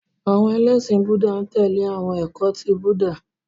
Àwọn ẹlẹ́ṣin Búúdà n tẹ̀lé awọn ẹkọ ti Búúdà.